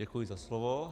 Děkuji za slovo.